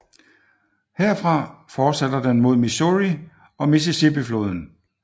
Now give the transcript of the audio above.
Herfra fortsætter den mod Missouri og Mississippifloden